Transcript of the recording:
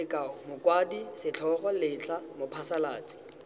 sekao mokwadi setlhogo letlha mophasalatsi